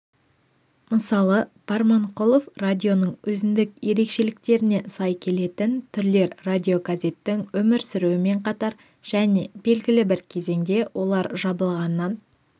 мысалы барманқұлов радионың өзіндік ерекшелігіне сай келетін түрлер радиогазеттің өмір сүруімен қатар және белгілі бір кезеңде олар жабылғаннан